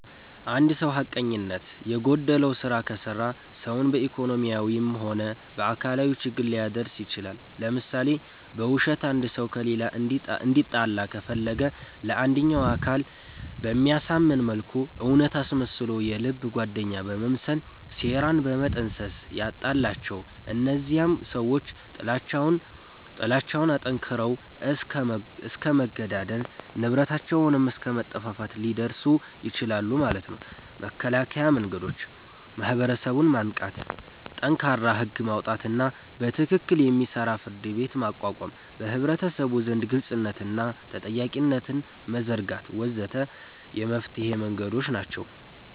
እንድ ሰዉ ሐቀኝነት የጎደለዉ ስራ ከሰራ ሰዉን በኢኮኖሚያዊም ሆነ በአካላዊ ችግር ሊያደርስ ይችላል ለምሳሌ፦ በዉሸት አንድ ሰዉ ከሌላ እንዲጣላ ከፈለገ ለአንደኛዉ አካል በሚያሳምን መልኩ እዉነት አስመስሎ የልብ ጓደኛ በመምሰል ሴራን በመጠንሰስ ያጣላቸዋል እነዚያም ሰዎች ጥላቻዉን አጠንክረዉት እስከ መገዳደል፣ ንብረታቸዉንም አስከ መጠፋፋት ሊደርሱ ይችላሉ ማለት ነዉ። መከላከያ መንገዶች፦ ማህበረሰቡን ማንቃት፣ ጠንካራ ህግ ማዉጣትና በትክክል የሚሰራ ፍርድቤት ማቋቋም፣ በህብረተሰቡ ዘንድ ግልፅነትንና ተጠያቂነትን መዘርጋት ወ.ዘ.ተ የመፍትሔ መንገዶች ናቸዉ።